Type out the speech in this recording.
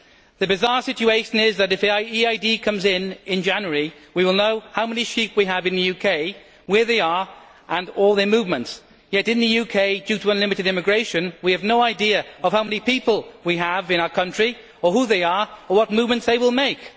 The bizarre situation is that if EID comes into force in January, we will know how many sheep we have in the UK, where they are and all their movements, yet in the UK due to unlimited immigration we have no idea of how many people we have in our country, or who they are or what movements they will make.